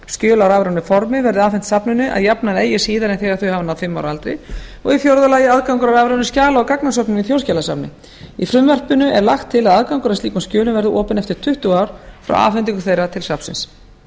á rafrænu formi verði afhent safninu að jafnaði eigi síðar en þegar þau hafa náð fimm ára aldri fjórða aðgangur að rafrænum skjala og gagnasöfnum í þjóðskjalasafni í frumvarpinu er lagt til að aðgangur að slíkum skjölum verði opinn eftir tuttugu ár frá afhendingu þeirra til safnsins